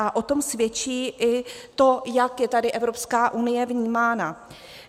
A o tom svědčí i to, jak je tady Evropská unie vnímána.